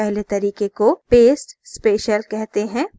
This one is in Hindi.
पहले तरीके को paste special कहते हैं